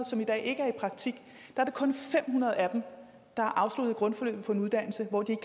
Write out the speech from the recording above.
som i dag ikke er i praktik er det kun fem hundrede af dem der har afsluttet grundforløbet på en uddannelse hvor de